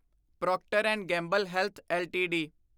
Procter and Gamble health LTD